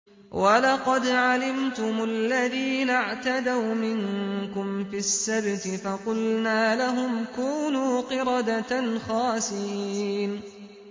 وَلَقَدْ عَلِمْتُمُ الَّذِينَ اعْتَدَوْا مِنكُمْ فِي السَّبْتِ فَقُلْنَا لَهُمْ كُونُوا قِرَدَةً خَاسِئِينَ